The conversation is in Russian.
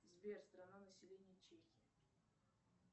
сбер страна население чехии